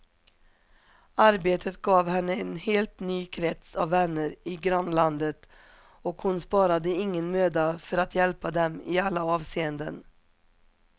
Arbetet gav henne en helt ny krets av vänner i grannlandet och hon sparade ingen möda för att hjälpa dem i alla avseenden.